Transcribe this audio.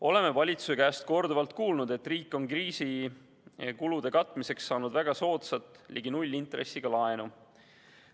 Oleme valitsuse käest korduvalt kuulnud, et riik on kriisi kulude katmiseks saanud väga soodsat, ligi nullintressiga laenu.